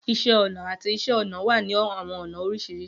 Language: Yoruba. Iṣẹ ọna ati Iṣẹ-ọnà wa ni awọn ọna oriṣiriṣi.